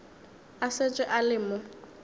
a šetše a le mo